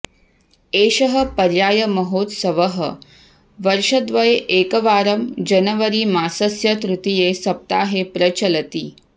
एषः पर्यायमहोत्सवः वर्षद्वये एकवारं जनवरीमासस्य तृतीये सप्ताहे प्रचलति